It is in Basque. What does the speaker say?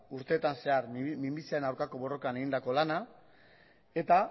urteetan zehar minbiziaren aurkako borrokan egindako lana eta